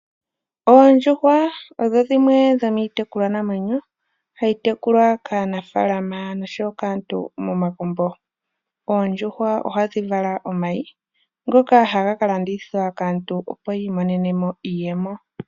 Oondjuhwa odho dhimwe dho miitekulwa namwenyo hayi tekulwa kaanafaalama nosho wo kaantu momagumbo. Oondjuhwa ohadhi vala omay,i ngoka haga ka landithwa kaantu, opo yi imonene mo iiyemo.